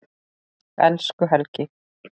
Elsku Helgi.